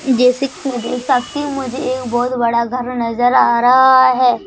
जैसे कि मैं देख सकती हूं मुझे एक बहोत बड़ा घर नजर आ रहा है।